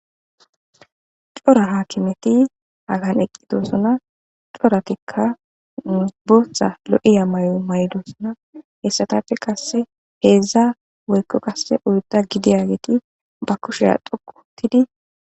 Cora haakimeti hagan eqqidosona coratikka musbotha lo'iya may'o may'dosona hessatafe qasse heedzdza woykko qasse uyda gidiyageti ba kusheya dhoquuttidi.